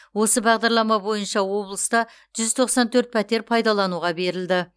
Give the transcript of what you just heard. осы бағдарлама бойынша облыста жүз тоқсан төрт пәтер пайдалануға берілді